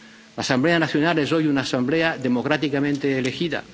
La Asamblea Nacional es hoy una asamblea democráticamente elegida.